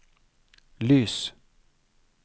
lys